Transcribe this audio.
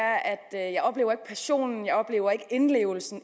jeg ikke oplever passionen at oplever indlevelsen